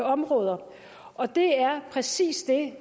områder og det er præcis det